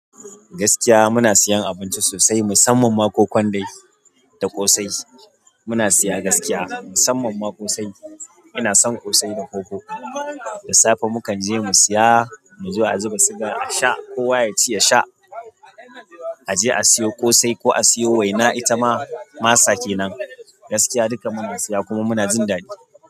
Gaskiya muna siyan abinci sosai musamman ma kokon dai da ƙosai. Muna siya gaskiya musamman ma ƙosai. Ina son ƙosai a koko. Da safe mu kan je mu siya, mu zo a zuba siga a sha kowa ya ci yasha. A je a siyo ƙosai ko a siyo waina. Ita ma masa kenan. Gaskiya duka muna siya kuma muna jin daɗi.